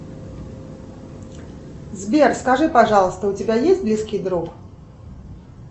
сбер скажи пожалуйста у тебя есть близкий друг